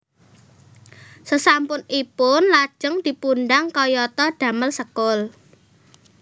Sesampun ipun lajeng dipundang kayata damel sekul